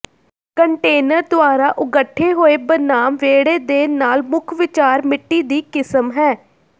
container ਦੁਆਰਾ ਉਗੱਠੇ ਹੋਏ ਬਨਾਮ ਵਿਹੜੇ ਦੇ ਨਾਲ ਮੁੱਖ ਵਿਚਾਰ ਮਿੱਟੀ ਦੀ ਕਿਸਮ ਹੈ